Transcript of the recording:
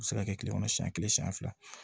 A bɛ se ka kɛ tile kɔnɔ siɲɛ kelen siɲɛ fila